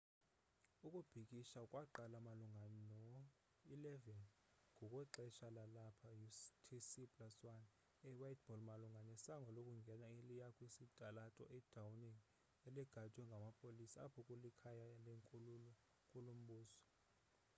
ukubhikisha kwaqala malunga no-11:00 ngokwexesha lalapha utc+1 e whiteball malunga nesango lokungena eliya kwisitalato i downing eligadwe ngamapolisa apho kulikhaya lenkulu mbuso